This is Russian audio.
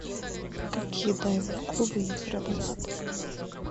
какие дайвинг клубы есть рядом с отелем